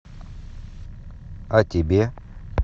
а тебе